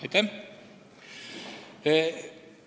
Aitäh! ...